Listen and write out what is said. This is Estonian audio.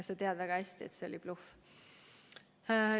Sa tead väga hästi, et see oli bluff.